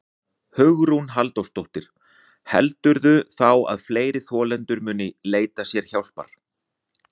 Hugrún Halldórsdóttir: Heldurðu þá að fleiri þolendur muni leita sér hjálpar?